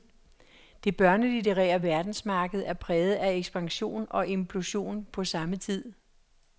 Det børnelitterære verdensmarked er præget af ekspansion og implosion på samme tid.